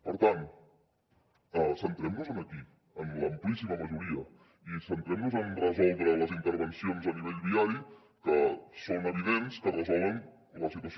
per tant centrem nos aquí en l’amplíssima majoria i centrem nos en resoldre les intervencions a nivell viari que són evidents que resolen la situació